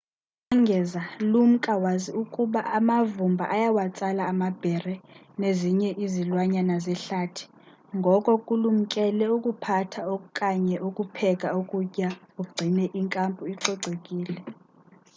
ukongeza lumka wazi ukuba amavumba ayawatsala amabhere nezinye izilwanyana zehlathi ngoko kulumkele ukuphatha okanye ukupheka ukutya ugcine i nkampu icocekile